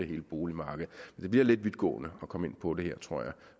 hele boligmarkedet det bliver lidt vidtgående at komme ind på det her tror jeg